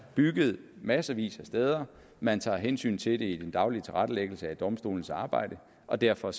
bygget massevis af steder man tager hensyn til det i den daglige tilrettelæggelse af domstolenes arbejde og derfor